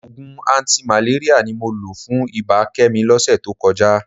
Òògùn antimalaria ni mo lò fún ibà Kẹ́mi lọ́sẹ̀ tó kọjá